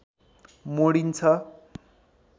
मोडिन्छ